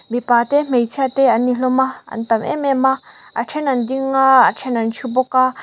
mipa te hmeichhia te an ni hlawm a a an tam em em a then an dinga a then an thu bawk a.